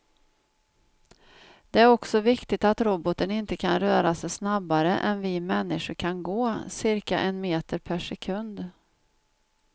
Det är också viktigt att roboten inte kan röra sig snabbare än vi människor kan gå, cirka en meter per sekund.